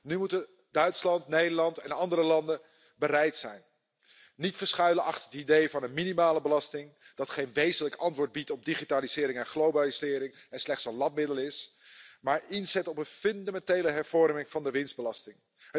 Nu moeten Duitsland, Nederland en andere landen bereid zijn zich niet te verschuilen achter het idee van een minimale belasting dat geen wezenlijk antwoord biedt op digitalisering en globalisering en slechts een lapmiddel is maar zij moeten inzetten op een fundamentele hervorming van de winstbelasting.